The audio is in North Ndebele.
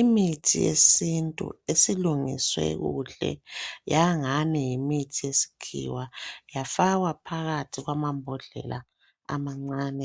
Imithi yesintu esilungiswe kuhle yangani yimithi yesikhiwa yafakwa phakathi kwamabhodlela amancane